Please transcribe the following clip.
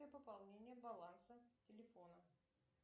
пополнение баланса телефона